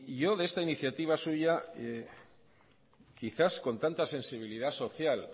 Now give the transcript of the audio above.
yo de esta iniciativa soy ya quizás con tanta sensibilidad social